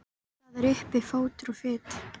Það er uppi fótur og fit.